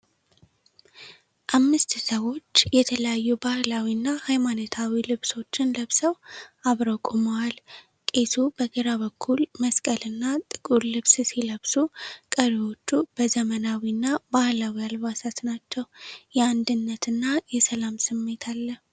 አምስት ሰዎች የተለያዩ ባህላዊና ሃይማኖታዊ ልብሶችን ለብሰው አብረው ቆመዋል። ቄሱ በግራ በኩል መስቀልና ጥቁር ልብስ ሲለብሱ፣ ቀሪዎቹ በዘመናዊና ባህላዊ አልባሳት ናቸው። የአንድነትና የሰላም ስሜት አለ።